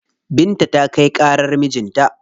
Binta ta kai ƙarar mijin ta.